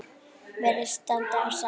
Virðist standa á sama.